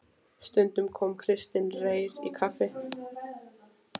Stundum kom Kristinn Reyr í kaffi.